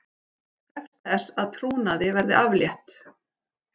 Krefst þess að trúnaði verði aflétt